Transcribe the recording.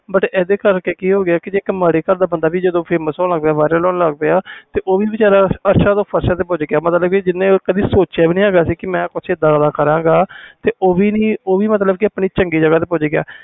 but ਇਹਦੇ ਕਰਕੇ ਪਤਾ ਕਿ ਹੋ ਗਿਆ ਜਿਹੜਾ ਮਾੜਾ ਬੰਦਾ ਸੀ ਉਹ ਵੀ ਅਰਸਾ ਤੋਂ ਫ਼ਰਸ਼ ਤੇ ਪੁਚ ਗਿਆ ਮਤਬਲ ਕਿ ਜਿੰਨੇ ਕਦੀ ਸੋਚਿਆ ਨਹੀਂ ਸੀ ਮਈ ਕੁਛ ਇਹਦਾ ਦਾ ਕਰ ਗਾ ਤੇ ਮਤਬਲ ਉਹ ਵੀ ਚੰਗੀ ਜਗ੍ਹਾ ਤੇ ਪੁਚ ਗਿਆ